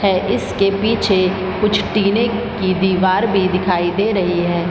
है इसके पीछे कुछ टीने की दिवार भी दिखाई दे रही है।